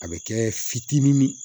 A bɛ kɛ fitinin min